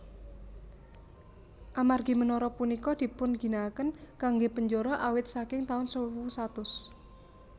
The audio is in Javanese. Amargi menara punika dipunginakaken kanggé penjara awit saking taun sewu satus